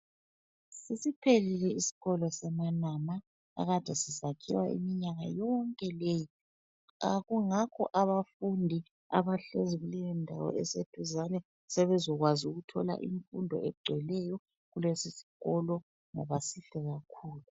Sesiphelile isikolo seManama ekade sisakhiwa iminyaka yonke leyi. Kungakho abafundi abahlezi kuleyondawo eseduzane sebezokwazi ukuthola imfundo egcweleyo kulesi sikolo ngoba sihle kakhulu.